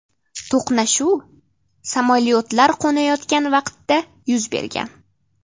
To‘qnashuv samolyotlar qo‘nayotgan vaqtda yuz bergan.